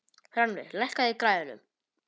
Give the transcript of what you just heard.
Rannveig, lækkaðu í græjunum.